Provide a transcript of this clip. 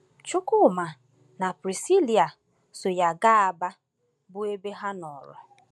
Chukwuma na Prisilia so ya gaa Aba, bụ́ ebe ha nọrọ.